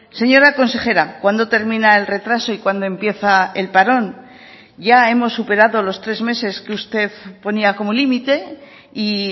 señora consejera cuándo termina el retraso y cuándo empieza el parón ya hemos superado los tres meses que usted ponía como límite y